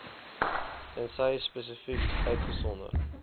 tensy spesifiek uitgesonder